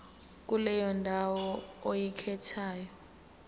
kuleyo ndawo oyikhethayo